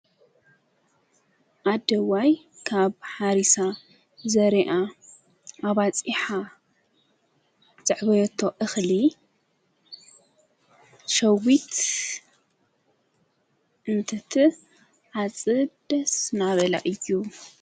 ኣደዋይ ካብ ሓሪሳ ዘርኣ ኣባጺሓ ዘዕበየቶ እኽሊ ሸዊት እንትቲ ዓጽደ ስናበላ እዩ።